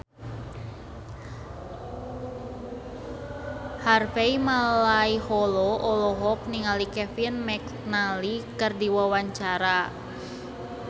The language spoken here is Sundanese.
Harvey Malaiholo olohok ningali Kevin McNally keur diwawancara